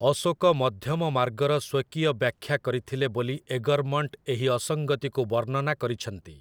ଅଶୋକ ମଧ୍ୟମମାର୍ଗର ସ୍ୱକୀୟ ବ୍ୟାଖ୍ୟା କରିଥିଲେ ବୋଲି ଏଗର୍‌ମଣ୍ଟ୍ ଏହି ଅସଙ୍ଗତିକୁ ବର୍ଣ୍ଣନା କରିଛନ୍ତି ।